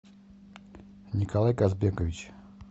николай казбекович